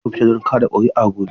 Za ku fita don ka da kuri'a gobe?